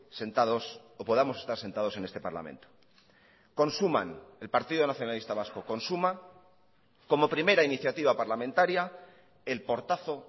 sentados o podamos estar sentados en este parlamento consuman el partido nacionalista vasco consuma como primera iniciativa parlamentaria el portazo